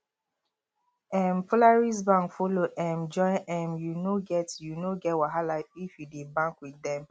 um polaris bank follow um join um you no get you no get wahala if you dey bank with dem